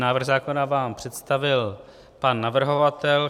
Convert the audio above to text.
Návrh zákona vám představil pan navrhovatel.